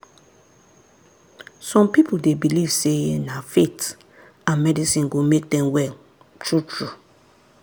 some people dey believe sey na faith and medicine go make dem well true-true.